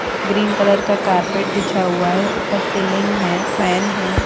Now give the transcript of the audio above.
Green colour का carpet बिछा हुआ है ऊपर सीलिंग है फैन है।